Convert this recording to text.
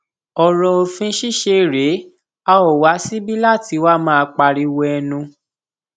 ọrọ òfin ṣíṣe rèé a ó wá síbi láti wáá máa pariwo ẹnu